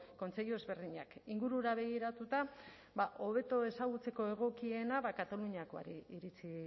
kontseilu ezberdinak ingurura begiratuta hobeto ezagutzeko egokiena kataluniakoari iritzi